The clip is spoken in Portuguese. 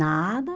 Nada.